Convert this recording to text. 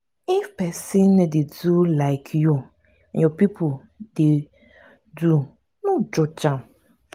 if pesin no dey do like you your pipo dey do no judge am.